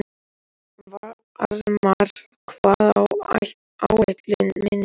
Varmar, hvað er á áætluninni minni í dag?